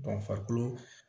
farikolo